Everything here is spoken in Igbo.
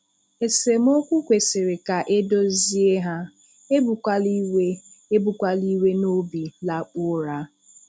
Esemokwu kwesịrị ka edozie ha, "Ebukwala iwe "Ebukwala iwe n'obi lakpuo ụra".